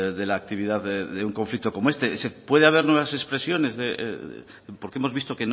de la actividad de un conflicto como este puede haber nuevas expresiones porque hemos visto